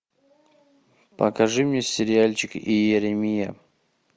покажи мне сериальчик иеремия